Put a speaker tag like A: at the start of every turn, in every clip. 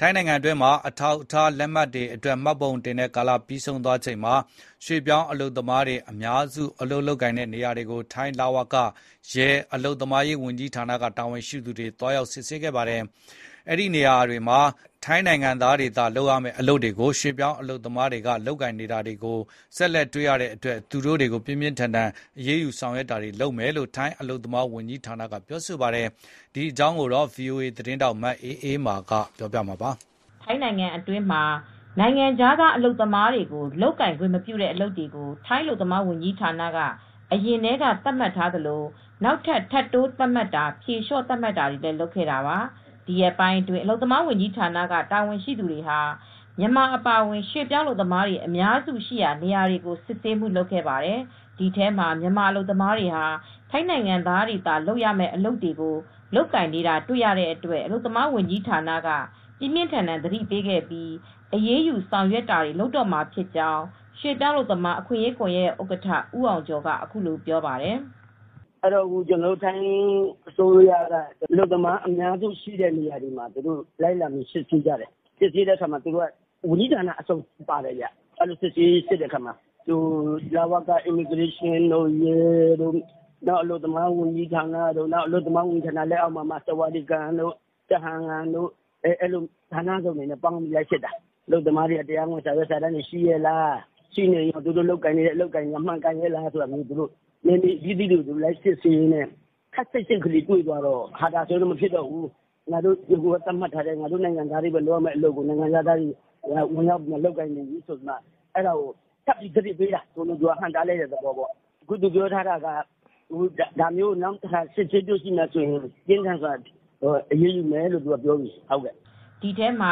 A: ထိုင်းနိုင်ငံတွင်းမှာ အထောက်အထားလက်မှတ်တွေအတွက် မှတ်ပုံတင်တဲ့ကာလပြီးဆုံးသွားချိန်မှာ ရွှေပြောင်းအအလုပ်သမားတွေ အများစု အလုပ်ကိုင်နေရာနေရာတွေကို ထိုင်းလဝက၊ ရဲ၊ အလုပ်သမားရေးဝန်ကြီးဌာနက တာဝန်ရှိသူတွေ သွားရောက်စစ်ဆေးခဲ့ပါတယ်။ အဲဒီနေရာတွေမှာ ထိုင်းနိုင်ငံသားတွေသာ လုပ်ရမယ့်အလုပ်တွေကို ရွှေပြောင်းအလုပ်သမားတွေက လုပ်ကိုင်နေတာတွေကို ဆက်လက်တွေ့ရတဲ့အတွက် သူတို့တွေကို ပြင်းပြင်းထန်ထန် အရေးယူဆောင်ရွက်တာတွေလုပ်မယ်လို့ထိုင်းအလုပ်သမားဝန်ကြီးဌာနက ပြောပါတယ်။ ဒီအကြောင်း ဗွီအိုအေသတင်းထောက် မအးအေးမာက သတင်းပေးပို့ထားပါတယ်
B: ။ ထိုင်းနိုင်ငံတွင်းမှာ နိုင်ငံခြားသာအလုပ်သမားတွေကို လုပ်ကိုင်ခွင့်မပြုတဲ့အလုပ်တွေ ထိုင်းအလုပ်သမားဝန်ကြီးဌာနက အရင်ကတည်းကသတ်မှတ်ထားသလို နောက်ထပ်ထပ်တိုးသတ်မှတ်တာ ဖြေလျှော့သတ်မှတ်ပေးတာတွေကို လုပ်ခဲ့တာပါ ။ ဒီရက်ပိုင်းအတွင်း အလုပ်သမားဝန်ကြီးဌာနက တာဝန်ရှိသူတွေဟာ မြန်မာအပါအဝင်ရွှေ့ပြောင်းအလုပ်သမားတွေအများစု ရှိတဲ့နေရာတွေကို စစ်ဆေးမှုလုပ်ခဲ့ပါတယ်။ ဒီထဲမှာ မြန်မာအလုပ်သမားတွေဟာ ထိုင်းနိုင်ငံသားတွေသာလုပ်ရမယ့်အလုပ်တွေကို လုပ်ကိုင်နေတာတွေ တွေ့ရတဲ့အတွက် အလုပ်သမားဝန်ကြီးဌာနက ပြင်းပြင်းထန်ထန်သတိပေးခဲ့ပြီးအရေးယူဆောင်ရွက်တာတွေ လုပ်တော့မှာဖြစ်ကြောင်းရွှေ့ပြောင်းအလုပ်သမားအခွင့်ရေးကွန်ယက်ရဲ့ဥက္ကဋ္ဌ ဦးအောင်ကျော်ကအခုလိုပြောပါတယ်။
C: "ထိုင်းအစိုးရက အလုပ်သမားအများစုရှိတဲ့နေရာတွေမှာလိုက်လံစစ်ဆေးကြတယ်။ ဝင်ရောက်စစ်ဆေးတဲ့အခါမှာဝန်ကြီးဌာနအစုံပါတယ် ။လဝက ရဲတွေ အလုပ်သမားဝန်ကြီးဌာနအပြင် အလုပ်သမားဝန်ကြီးဌာနလက်အောက်က ဆာဝါဒီကန်တို့ကျဟမ်ငမ်ရုံးတို့က လူတွေပါပါတယ်။ ဌာနပေါင်းစုံကလိုက်စစ်တာ၊ အဲဒီမှာအလုပ်သမားတွေက တရားဝင်အထောက်အထားတွေကောရှိရဲ့လား ပြီးတော့ ရှိရင်ကော အလုပ်အကိုင်တွေကကောမှန်ကန်ရဲ့လားဆိုပြီး နယ်မြေတွေကိုလိုက်စစ်ဆေးတဲ့အခါမှာ အခုက ခပ်စိတ်စိတ်လေးတွေတွေ့ရတဲ့အတွက် မဖြစ်တော့ဘူးဆိုပြီး သတ်မှတ်ထားတဲ့ ထိုင်းတွေလုပ်ရမယ့်အလုပ်ကိုနိုင်ငံခြားသားတွေက လုပ်နေပြီးဆိုပြီး အဲဒါကိုထပ်ပြီးသတိပေးတာ ဟန့်တားတဲ့သဘောပေါ့။ ဒါမျိုးနောက်ထပ်တွေ့လာမယ်ဆိုရင် ပြင်းထန်စွာအရေးယူမယ်ဆိုပြီး သူကပြောလာပြီ။
B: " ဒီထဲမှာ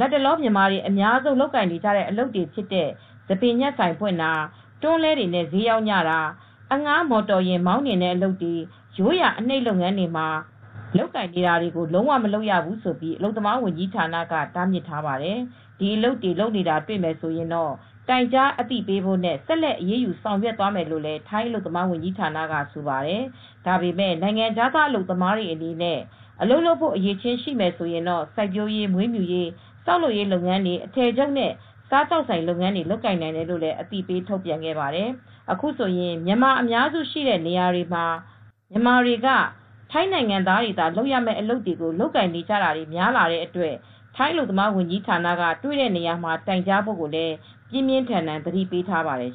B: တော့လတ်တလောမြန်မာတွေအများဆုံးလုပ်ကိုင်နေတဲ့အလုပ်တွေဖြစ်တဲ့ ဆံပင်ညှပ်ဆိုင်ဖွင့်တာ တွန်းလှည်းတွေနဲ့ဈေးရောင်းကြတာ အဌားမော်တော်ယဉ်မောင်းနှင်းတဲ့အလုပ်တွေ ရိုးရာအနှိပ်လုပ်ငန်းတွေကို လုံးဝမလုပ်ရဘူးလို့အလုပ်သမားဝန်ကြီးဌာနက တားမြစ်ခဲ့ပါတယ်။ ဒီအလုပ်တွေ လုပ်နေတာတွေ့ရင် တိုင်ကြားအသိပေးဖို့နဲ့ ဆက်လက်အရေးယူ ဆောင်ရွက်မယ်လို့လည်းထိုင်းအလုပ်သမားဝန်ကြီးဌာနကဆိုပါတယ်။ ဒါပေမယ့် နိုင်ငံခြားသားအလုပ်သမားအတွေအနေနဲ့အလုပ်လုပ်ဖို့အရည်အချင်းရှိမယ်ဆိုရင်တော့ စိုက်ပျိုးရေးမွေးမြူရေး ဆောက်လုပ်ရေးလုပ်ငန်းတွေ အထည်ချုပ် နဲ့စားသောက်ဆိုင်လုပ်ငန်းတွေလုပ်ကိုင်နိုင်တယ်လို့လည်းအသိပေးထုတ်ပြန်ခဲ့ပါတယ်။ အခုဆိုရင် မြန်မာအများစုရှိတဲ့နေရာတွေဟာ မြန်မာတွေက ထိုင်းနိုင်ငံသားတွေသာလုပ်ရတဲ့အလုပ်တွေကို လုပ်ကိုင်နေကြတာတွေများလာတဲ့အတွက် ထိုင်းအလုပ်သမားဝန်ကြီးဌာနက တွေ့တဲ့နေရာမှာတိုင်ကြားဖို့ကိုလည်း ပြင်းပြင်းထန်ထန် သတိပေးထားပါတယ်